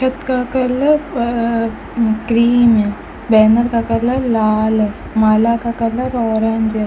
हाथ का कलर व क्रीम है बैनर का कलर लाल है माला का कलर ऑरेंज है।